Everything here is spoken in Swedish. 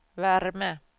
värme